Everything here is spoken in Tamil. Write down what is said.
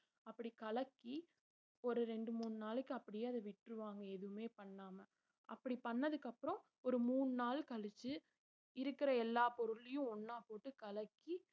அப்படி கலக்கி ஒரு ரெண்டு மூணு நாளைக்கு அப்படியே அத விட்டுருவாங்க எதுவுமே பண்ணாம அப்படி பண்ணதுக்கு அப்புறம் ஒரு மூணு நாள் கழிச்சு இருக்கிற எல்லா பொருளையும் ஒண்ணா போட்டு கலக்கி